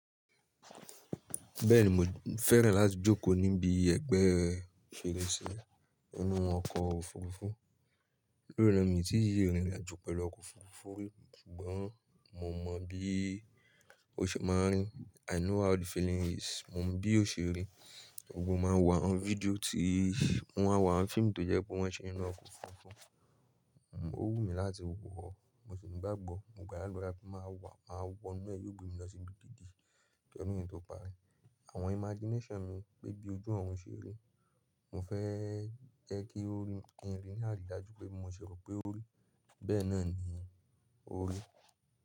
Bẹ́ẹ̀ni, mo fẹ́ràn láti jókòó níbi ẹgbẹ́ fèrèsé inú ọkọ̀ òfurufú. Lórí náà, mo ti í irin àjò pẹ̀lú ọkọ̀ òfurufú, ṣùgbọ́n mo mọ bí ó ṣe máa rí. I know how the feeling is. Mo mọ bí ó ṣe rí. Mo máa ń wo àwọn fídíò tí mo máa ń wo àwọn fíìmù tó jẹ́ pé wọ́n ṣe inú ọkọ̀ òfurufú. Ó wù mí láti wọ, mo sì ní gbàgbọ́. Mo gbá l'àdúrà pé máa wà, máa wọ inú ẹ̀ yóò gbé mi lọ síbi gídì. Kí ọdún yìí tó parí. Àwọn imagination mi pé bí ojú ọ̀run ṣe rí. Mo fẹ́ jẹ́ kí orin kí ń rìn ní àrídájú pé bí mo ṣẹ̀ rò pé ó rí. Bẹ́ẹ̀ náà ni ó rí.